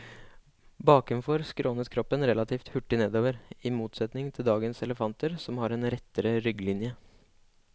Bakenfor skrånet kroppen relativt hurtig nedover, i motsetning til dagens elefanter som har en rettere rygglinje.